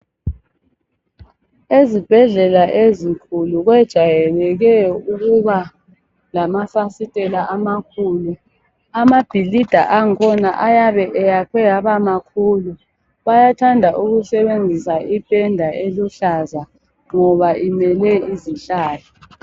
Ezibhedlela ezinkulu kwejayeleke ukuba lamafasitela amakhulu. Amabhilida angkhona ayabe eyakhe abamakhulu bayathanda ukusebenzisa ipenda eluhlaza ngoba imele izihlahla.